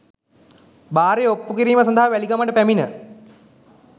භාරය ඔප්පු කිරීම සඳහා වැලිගමට පැමිණ